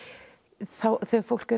þegar fólk er